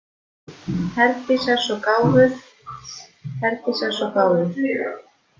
Herdís er svo gáfuð, Herdís er svo gáfuð.